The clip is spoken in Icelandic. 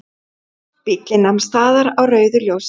Bíllinn nam staðar á rauðu ljósi.